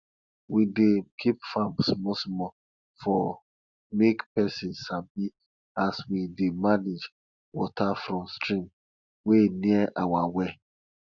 we dey keep farm small small for make pesin sabi as we dey manage water from stream wey near our well